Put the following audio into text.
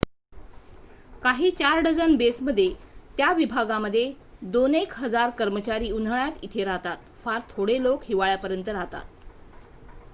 काही चार dozen base मध्ये त्या विभागामध्ये दोन एक हजार कर्मचारी उन्हाळ्यात इथे राहतात फार थोडे लोक हिवाळ्यापर्यंत राहतात